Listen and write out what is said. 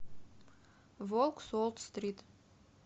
волк с уолл стрит